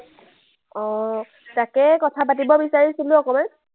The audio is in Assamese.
অ, তাকেই কথা পাতিব বিচাৰিছিলো অকমান।